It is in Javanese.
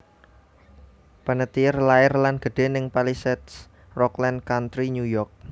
Panettiere lair lan gedhe ning Palisades Rockland Country New York